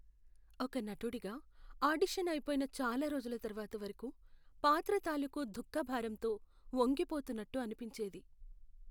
ఒక నటుడిగా, ఆడిషన్ అయిపోయిన చాలా రోజుల తర్వాత వరకు పాత్ర తాలూకు దుఃఖ భారంతో వంగిపోతున్నట్టు అనిపించేది.